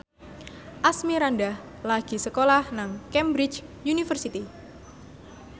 Asmirandah lagi sekolah nang Cambridge University